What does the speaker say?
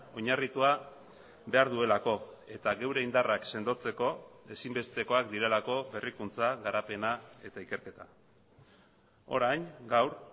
oinarritua behar duelako eta geure indarrak sendotzeko ezinbestekoak direlako berrikuntza garapena eta ikerketa orain gaur